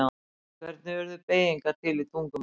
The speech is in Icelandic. Hvernig urðu beygingar til í tungumálum?